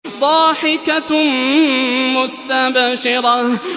ضَاحِكَةٌ مُّسْتَبْشِرَةٌ